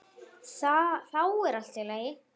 Þá er allt í lagi.